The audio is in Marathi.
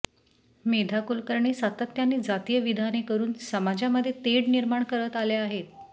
मेधा कुलकर्णी सातत्याने जातीय विधाने करुन समाजामध्ये तेढ निर्माण करत आल्या आहेत